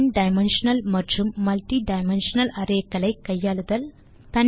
one dimensional மற்றும் multi dimensional array களை கையாளுதல்